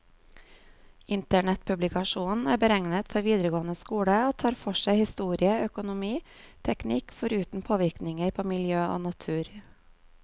Internettpublikasjonen er beregnet for videregående skole, og tar for seg historie, økonomi, teknikk, foruten påvirkninger på miljø og natur.